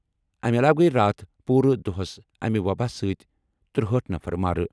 اَمہِ علاوٕ گٔیہِ راتھ پوٗرٕ دۄہَس اَمہِ وَباہِ سۭتۍ ترٚہأٹھ نفر مارٕ۔